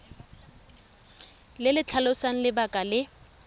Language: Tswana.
le le tlhalosang lebaka le